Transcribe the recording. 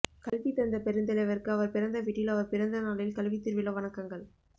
கல்வி தந்த பெருந்தலைவருக்கு அவர் பிறந்த வீட்டில் அவர் பிறந்த நாளில் கல்வித்திருவிழா வணக்கங்கள்